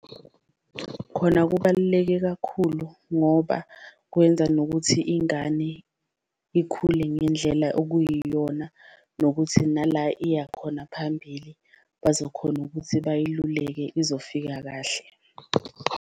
Khona kubaluleke kakhulu ngoba kwenza nokuthi ingane ikhule ngendlela okuyiyona, nokuthi nala iyakhona phambili bazokhona ukuthi bayiluleke izofika kahle.